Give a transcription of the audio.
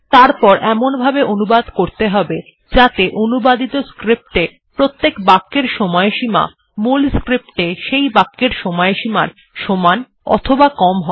তারপর এমনভাবে অনুবাদ করতে হবে যাতে অনুবাদিত স্ক্রিপ্ট এ প্রত্যেক বাক্যের সময়সীমা মূল স্ক্রিপ্ট এ সেই বাক্যের সময়সীমার সমান অথবা কম হয়